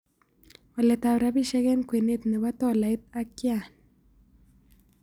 Waletap rabisiek eng' kwenet ne po tolait ak yan